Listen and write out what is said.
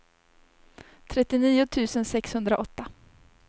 trettionio tusen sexhundraåtta